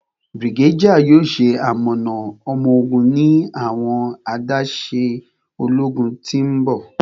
Brigadier yoo ṣe amọna ọmọ-ogun ni awọn adaṣe ologun ti n bọ.